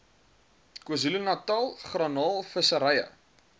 kzn garnaal visserye